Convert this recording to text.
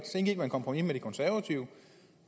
så indgik et kompromis med de konservative